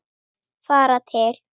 Fara til